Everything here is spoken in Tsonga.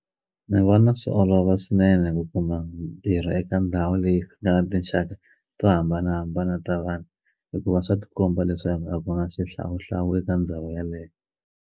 Ni vona swi olova swinene ku kuma mintirho eka ndhawu leyi nga na tinxaka to hambanahambana ta vanhu hikuva swa tikomba leswaku a ku na xihlawuhlawu eka ndhawu yaleyo.